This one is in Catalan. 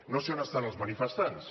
no sé a on estan els manifestants